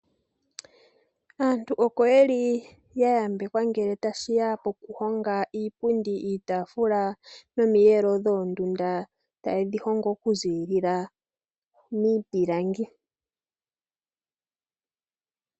Aantu oko ye li ya yambekwa ngele ta shi ya pokuhonga iipundi, iitaafula nomiyelo dhoondunda ta ye dhi hongo oku ziilila miipilangi.